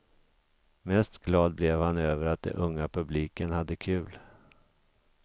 Mest glad blev han över att den unga publiken hade kul.